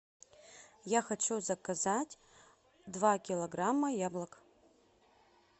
я хочу заказать два килограмма яблок